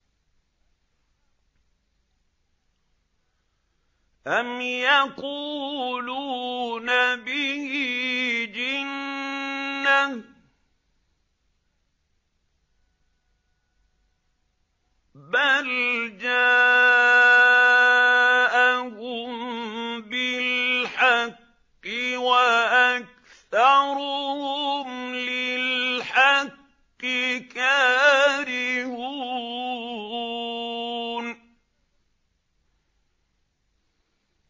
أَمْ يَقُولُونَ بِهِ جِنَّةٌ ۚ بَلْ جَاءَهُم بِالْحَقِّ وَأَكْثَرُهُمْ لِلْحَقِّ كَارِهُونَ